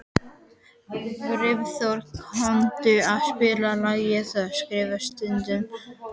Brimþór, kanntu að spila lagið „Það skrifað stendur“?